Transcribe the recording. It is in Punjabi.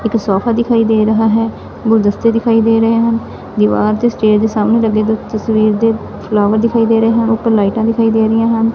ਇੱਕ ਸੋਫਾ ਦਿਖਾਈ ਦੇ ਰਿਹਾ ਹੈ ਗੁਲਦਸਤੇ ਦਿਖਾਈ ਦੇ ਰਹੇ ਹਨ ਦਿਵਾਰ ਤੇ ਸਟੈਅਰ ਦੇ ਸਾਹਮਣੇ ਲੱਗੇ ਹੋਏ ਤਸਵੀਰ ਦੇ ਫਲਾਵਰ੍ ਦਿਖਾਈ ਦੇ ਰਹੇ ਹਨ ਉਪਰ ਲਾਈਟਾਂ ਦਿਖਾਈ ਦੇ ਰਹੀਆਂ ਹਨ।